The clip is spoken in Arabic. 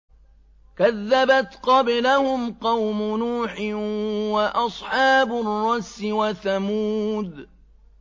كَذَّبَتْ قَبْلَهُمْ قَوْمُ نُوحٍ وَأَصْحَابُ الرَّسِّ وَثَمُودُ